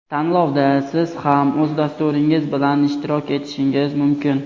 Tanlovda siz ham o‘z dasturingiz bilan ishtirok etishingiz mumkin.